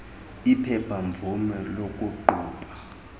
iphepha mvume lokuqhuba